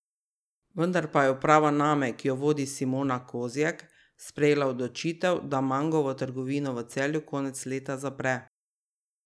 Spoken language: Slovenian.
Vendar pa je uprava Name, ki jo vodi Simona Kozjek, sprejela odločitev, da Mangovo trgovino v Celju konec leta zapre.